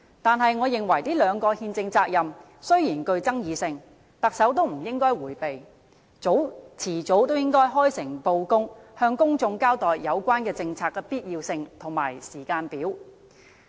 但是，我認為這兩個憲政責任雖然具爭議性，特首也不應該迴避，遲早也應該開誠布公，向公眾交代有關政策的必要性和時間表。